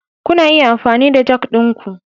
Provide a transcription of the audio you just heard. Kuna iya amfani da jack ɗinku.